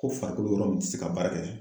Ko farikolo yɔrɔ min ti se ka baara kɛ